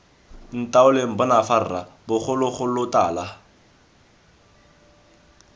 ntaoleng bona fa rra bogologolotala